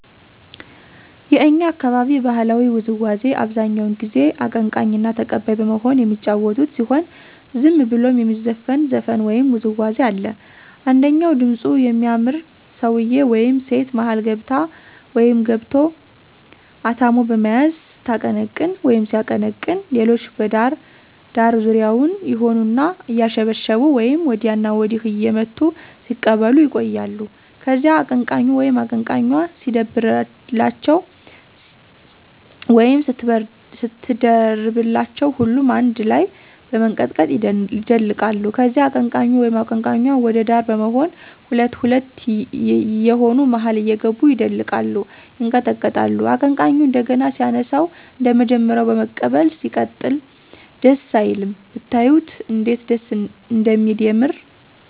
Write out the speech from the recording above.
የእኛ አካባቢ ባህላዊ ውዝዋዚ አብዛኛው ጊዜ አቀንቃኝና ተቀባይ በመሆን የሚጫወቱት ሲሆን ዝም ብሎም የሚዘፈን ዘፈን ወይም ውዝዋዜ አለ። አንደኛው ድምጹ የሚያምር ሰውየ ወይም ሴት መሀል ገብቶ/ገብታ አታሞ በመያዝ ስታቀነቅን/ሲያቀነቅን ሌሎች በዳር ዳር ዙሪያውን ይሆኑና አያሸበሸቡ ወይም ወዲያና ወዲህ እየመቱ ሲቀበሉ ይቆያሉ። ከዚያ አቀነቃኙ/ኟ ሲደርብላቸው ወይም ስትደርብላቸው ሁሉም አነድ ላይ በመንቀጥቀጥ ይደልቃሉ። ከዚያ አቀንቃኙ/ኟ ወደ ዳር በመሆን ሁለት ሁለት የየሆኑ መሀል እየገቡ ይደልቃሉ፤ ይንቀጠቀጣሉ። አቀንቃኙ እንደገና ሲያነሳው አንደመጀመሪያው በመቀበል ይቀጥላል። ደስ አይልም?!! ብታዩት እንዴት ደስ እንደሚል የምር።